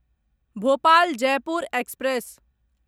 Bhopal Jaipur express